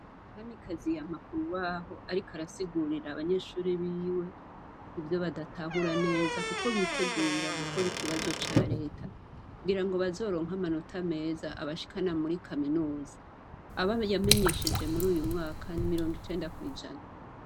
Kamikazi yama k'urubaho ariko arasigurira abanyeshure biwe, ivyo badatahura neza, kuko bitegurira gukora ikibazo ca leta, kugira ngo bazoronke amanota meza abashikana muri kaminuza . Abo yamenyesheje mur'uyu mwaka ,ni mirongo icenda kw'ijana.